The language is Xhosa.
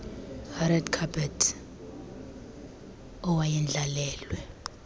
red carpet awayendlalelwe